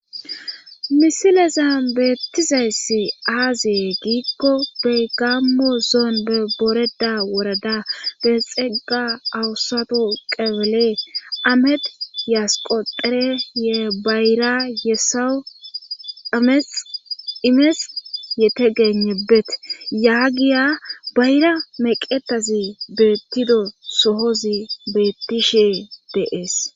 misilezan beettizayssi aaze giikko peygammo zoon be boreda worada be xegga awusato qebele amet yasqo dhere ye bayra yesawu amex imes yete genebete yaagiya bayra meqetazi beettido sohozi beettishe de7ese